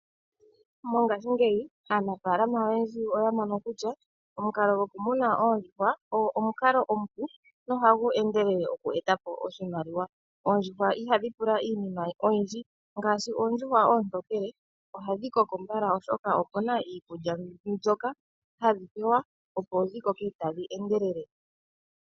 Mongashingeyi aanafaalama oyendji oya mono kutya omukalo gokumuna oondjuhwa ogo omukalo omupu nohagu endelele oku eta po oshimaliwa. Oondjuhwa ihadhi pula iinima oyindji, ngaashi oondjuhwa oontokele ohadhi koko mbala, oshoka opu na iikulya mbyoka hadhi pewa, opo dhi koke tadhi endelele.